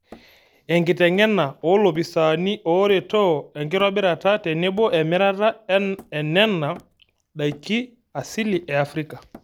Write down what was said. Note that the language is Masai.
Enkiteng'ena oo lopisaani ooretoo enkitobirata tenebo emirata enena daiki asili e Afrika